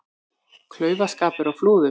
Klaufaskapur á Flúðum